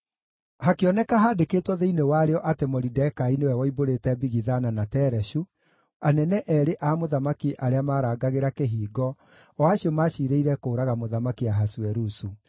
Hakĩoneka handĩkĩtwo thĩinĩ warĩo atĩ Moridekai nĩwe woimbũrĩte Bigithana na Tereshu, anene eerĩ a mũthamaki arĩa marangagĩra kĩhingo, o acio maacirĩire kũũraga Mũthamaki Ahasuerusu.